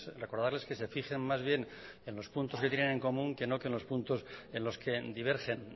recordarles que se fijen más bien en los puntos que tienen en común que no que en los puntos en los que divergen